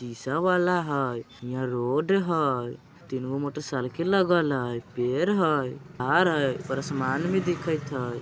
शीशा वाला हइ। हियाँ रोड हइ। तीन गो मोटरसाइकिल लगल हइ। पेड़ हइ कार हइ आसमान भी दिखत हइ।